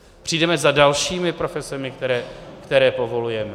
Přijdeme za dalšími profesemi, které povolujeme?